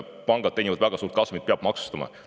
Pangad teenivad väga suurt kasumit, peab maksustama.